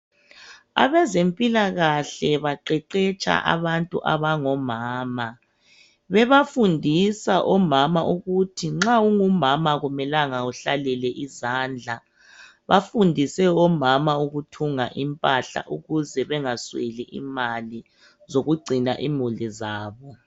Abezempilakahle baqeqetsha abantu abangomama, bebafundisa omama ukuhi nxa ungumama akumelanga uhlalele izandla. Bafundise omama ukuthunga impahla ukuze bengasweli imali zokungcina imuli zabo.